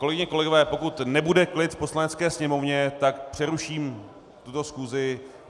Kolegyně, kolegové, pokud nebude klid v Poslanecké sněmovně, tak přeruším tuto schůzi.